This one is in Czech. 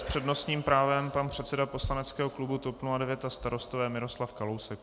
S přednostním právem pan předseda poslaneckého klubu TOP 09 a Starostové Miroslav Kalousek.